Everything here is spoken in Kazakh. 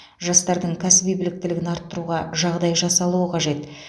жастардың кәсіби біліктілігін арттыруға жағдай жасалуы қажет